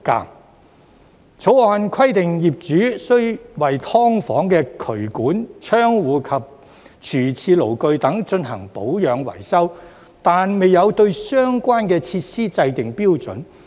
《條例草案》規定業主須為"劏房"的渠管、窗戶及廚廁爐具等進行保養維修，卻未有對相關設施制訂標準。